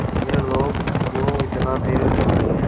ये लोग क्यों इतना धीरे चल रहे हैं